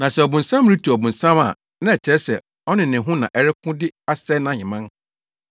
Na sɛ ɔbonsam retu ɔbonsam a na ɛkyerɛ sɛ ɔne ne ho na ɛreko de asɛe nʼaheman.